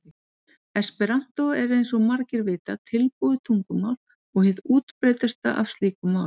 Esperantó er eins og margir vita tilbúið tungumál og hið útbreiddasta af slíkum málum.